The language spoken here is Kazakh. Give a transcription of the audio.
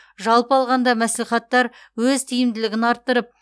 жалпы алғанда мәслихаттар өз тиімділігін арттырып